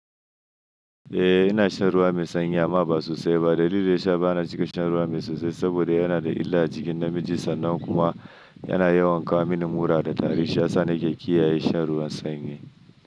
Eh, ina shan ruwa mai sanyi amma ba sosai ba. Dalili da ya sa ba na cika shan ruwa mai sosai saboda yana da illa a jikin namiji, sannan kuma yana yawan kawo mini mura da tari. Shi ya sa nake kiyaye shan ruwa sanyi.